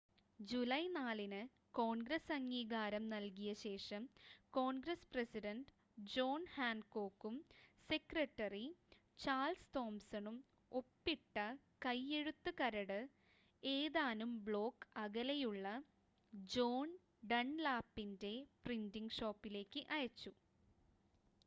July 4-ന് Congress അംഗീകാരം നൽകിയ ശേഷം കോൺഗ്രസ് പ്രസിഡൻഡ് ജോൺ ഹാൻകോക്കും സെക്രട്ടറി ചാൾസ് തോംസണും ഒപ്പിട്ട കൈയ്യെഴുത്ത് കരട് ഏതാനും ബ്ലോക്ക് അകലെയുള്ള ജോൺ ഡൺലാപ്പിൻ്റെ പ്രിൻ്റിംഗ് ഷോപ്പിലേക്ക് അയച്ചു